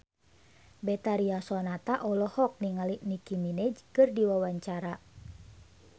Betharia Sonata olohok ningali Nicky Minaj keur diwawancara